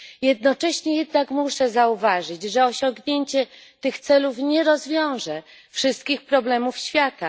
Jednocześnie jednak muszę zauważyć, że osiągnięcie tych celów nie rozwiąże wszystkich problemów świata